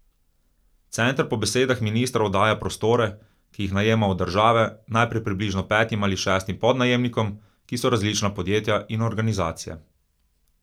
Center po besedah ministra oddaja prostore, ki jih najema od države, naprej približno petim ali šestim podnajemnikom, ki so različna podjetja in organizacije.